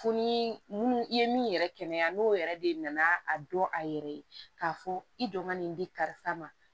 Fo ni munnu i ye min yɛrɛ kɛnɛya n'o yɛrɛ de nana a dɔn a yɛrɛ ye k'a fɔ i don ka nin di karisa ma